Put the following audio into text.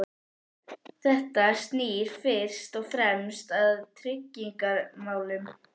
Þetta snýr fyrst og fremst að tryggingamálum.